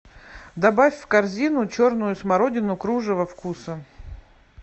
добавь в корзину черную смородину кружево вкуса